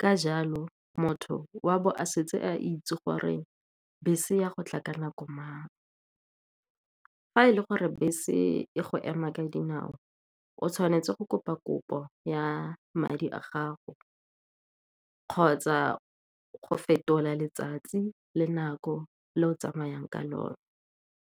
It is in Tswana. ka jalo motho wa bo a setse a itse gore bese ya go tla ka nako mang. Fa e le gore bese e go ema ka dinao, o tshwanetse go kopa kopo ya madi a gago kgotsa go fetola letsatsi le nako le o tsamayang ka lone.